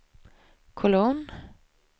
kolon